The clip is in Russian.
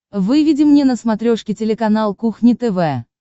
выведи мне на смотрешке телеканал кухня тв